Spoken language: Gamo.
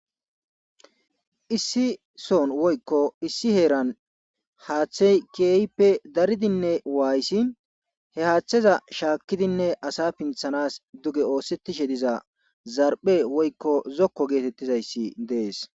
issi son woykko issi heeran haaththey keeyppe daridinne waayssi he haaththeza shaakkidinne asa pinthanas duge oosettishe diza zarphe woykko zokko geetettizayssi dees